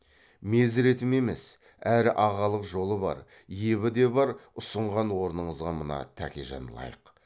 мезіретім емес әрі ағалық жолы бар ебі де бар ұсынған орныңызға мына тәкежан лайық